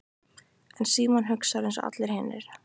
En Símon hugsar einsog allir hinir.